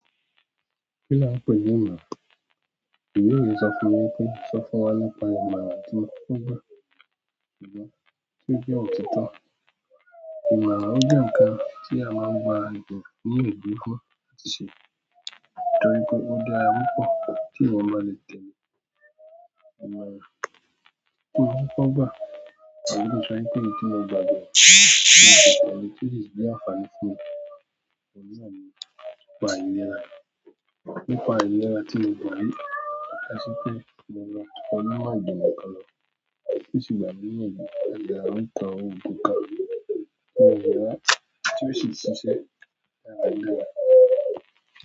Kí là ń pè ní ìmọ̀ràn? Èmi yóò sọ fún ọ wípé, sọ fún wa nípa ìmọ̀ràn tó gbà, tó jẹ́ òtítọ́. Ìmọ̀ràn jẹ́ ǹkan tí a máa ń gba àgbẹ̀ ní òbí fún láti ṣe, torí pé ó dára púpọ̀ tí èèyàn bá le tẹ̀lé ìmọ̀ràn. Kí ni wọ́n kọ́ gbà? Àbí ki sọ wípé èyí tí mo gbà jo, ni òtítọ́ le tun le jẹ́ àǹfààní fún mi. Ohun náà nipà ìlera. Nípa àìlera tí mo gbà yìí, a ṣọ pé mo máa to onímọ̀ ìjìnlẹ̀ kàn lọ, to sì gbà mí ní iyanju, o ko ogun kan ti o síi ṣẹṣẹ dáadáa.